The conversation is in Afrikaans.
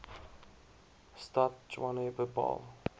stad tshwane bepaal